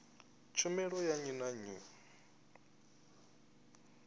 tshumelo ya nnyi na nnyi